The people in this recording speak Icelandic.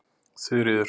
Þuríður